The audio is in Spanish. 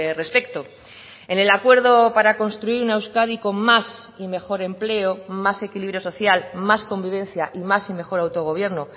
respecto en el acuerdo para construir una euskadi con más y mejor empleo más equilibrio social más convivencia y más y mejor autogobierno